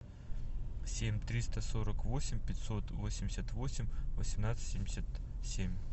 семь триста сорок восемь пятьсот восемьдесят восемь восемнадцать семьдесят семь